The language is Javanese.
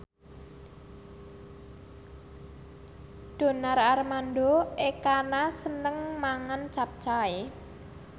Donar Armando Ekana seneng mangan capcay